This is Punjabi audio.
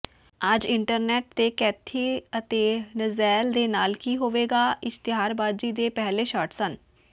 ਅੱਜ ਇੰਟਰਨੈਟ ਤੇ ਕੈਥੀ ਅਤੇ ਨਜੈਲ ਦੇ ਨਾਲ ਕੀ ਹੋਵੇਗਾ ਇਸ਼ਤਿਹਾਰਬਾਜ਼ੀ ਦੇ ਪਹਿਲੇ ਸ਼ਾਟ ਸਨ